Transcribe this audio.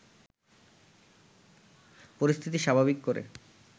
পরিস্থিতি স্বাভাবিক করে